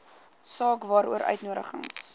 saak waaroor uitnodigings